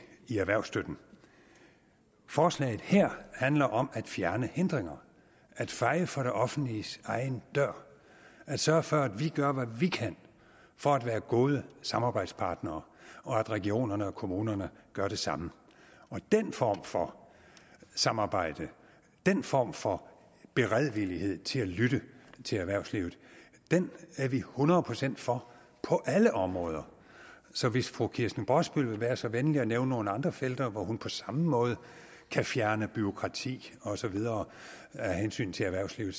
i erhvervsstøtten forslaget her handler om at fjerne hindringer at feje for det offentliges egen dør at sørge for at vi gør hvad vi kan for at være gode samarbejdspartnere og at regionerne og kommunerne gør det samme og den form for samarbejde den form for beredvillighed til at lytte til erhvervslivet er vi hundrede procent for på alle områder så hvis fru kirsten brosbøl vil være så venlig at nævne nogle andre felter hvor hun på samme måde kan fjerne bureaukrati og så videre af hensyn til erhvervslivet